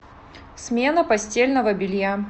смена постельного белья